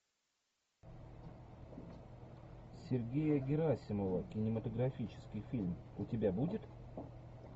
сергея герасимова кинематографический фильм у тебя будет